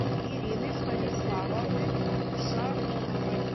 ирины станиславовны шароновой